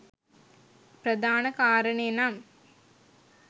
ප්‍රධාන කාරණය නම්